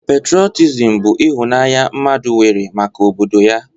Patrọtism bụ ịhụnanya mmadụ nwere maka obodo ya.